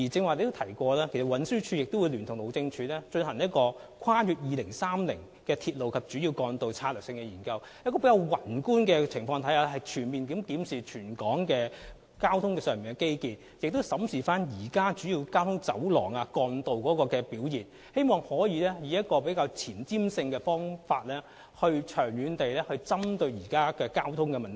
我剛才提到，運輸署聯同路政署將會進行《跨越2030年的鐵路及主要幹道策略性研究》，從宏觀角度全面檢視全港的交通基建，並且審視現時主要交通走廊和幹道的表現，希望能夠前瞻性和長遠地針對現在香港面對的交通問題。